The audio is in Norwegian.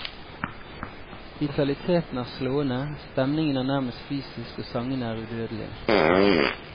Vitaliteten er slående, stemningen er nærmest fysisk og sangene er udødelige.